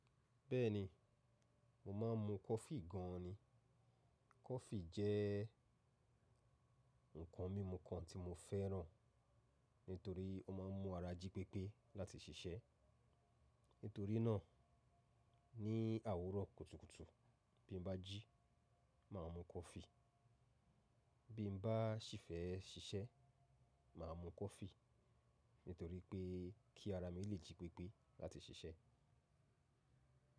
Bẹ́ẹ̀ni, mo máa ń mu coffee gan ni. Coffee jẹ́ nǹkan mímu kan tí mo fẹ́ràn nítorí ó máa ń mú ara jí pépé láti ṣiṣẹ́. Nítorí náà, ní àwuro kùtùkùtù bí n bá jí, màá mu coffee. Bí n bá sì fẹ́ ṣiṣẹ́, màá mu coffee nítorí pé kí ara mi lè jí pépé láti ṣiṣẹ́